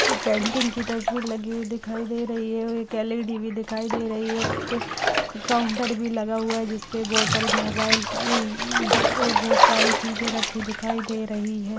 एक पेंटिंग की तस्वीर लगी हुई दिखाई दे रही है और एक एल.ई.डी भी दिखाई दे रही है एक काउन्ट भी लगा हुआ है जिसपे बॉटल मोबाईल की इइइइ और बहोत सारी चीजे रखी दिखाई दे रही हैं।